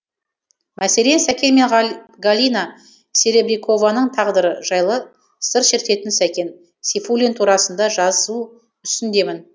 мәселе сәкен мен галина серебрякованың тағдыры жайлы сыр шертетін сәкен сейфуллин турасында жазу үстіндемін